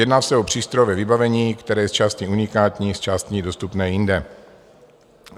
Jedná se o přístrojové vybavení, které je zčásti unikátní, zčásti dostupné i jinde.